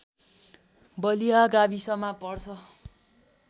बलिया गाविसमा पर्छ